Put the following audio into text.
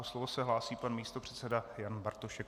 O slovo se hlásí pan místopředseda Jan Bartošek.